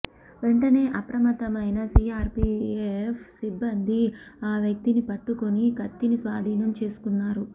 వెంటనే అప్రమత్తమైన సీఆర్పీఎఫ్ సిబ్బంది ఆ వ్యక్తిని పట్టుకుని కత్తిని స్వాధీనం చేసుకున్నారు